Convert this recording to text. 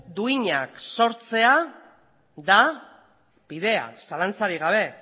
duinak sortzea da bidea zalantzarik gabe